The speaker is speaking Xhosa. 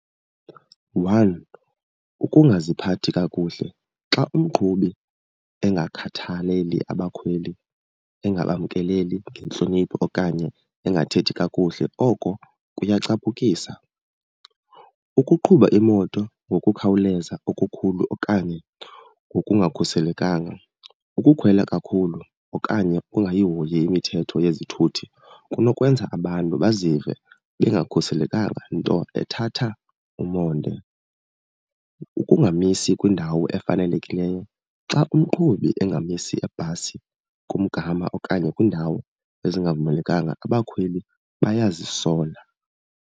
One, ukungaziphathi kakuhle, xa umqhubi engakhathaleli abakhweli, engabamkeleli ngentlonipho okanye engathethi kakuhle oko kuyacaphukisa. Ukuqhuba imoto ngokukhawuleza okukhulu okanye ngokungakhuselekanga. Ukukhwela kakhulu okanye ungayihoyi imithetho yezithuthi kunokwenza abantu bazive bengakhuselekanga, nto ethatha umonde. Ukungamisi kwindawo efanelekileyo, xa umqhubi engamisi ibhasi kumgama okanye kwiindawo ezingavumelekanga abakhweli bayazisola.